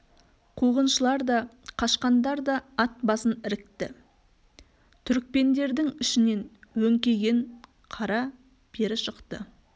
қуғыншылар да қашқандар да ат басын ірікті түрікпендердің ішінен өңкиген қара бері шықты